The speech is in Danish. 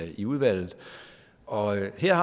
i udvalget og her